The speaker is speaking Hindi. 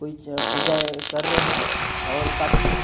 कोई ज पूजा कर रहे हैं और काफी--